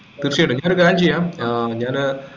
തീർച്ചയായിട്ടും ഞാനൊരു കാര്യം ചെയ്യാം ഏർ ഞാന്